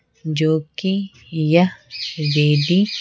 जो कि यह वेदी।